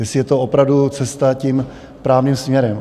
Jestli je to opravdu cesta tím správným směrem.